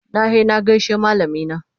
Na he na gaishe da malamina.